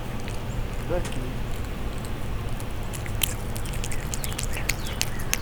закинь